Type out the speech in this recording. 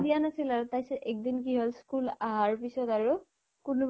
দিয়া নাছিল আৰু তাৰ পিছত এক্দিন হল school আহাৰ পিছত আৰু কোনোবা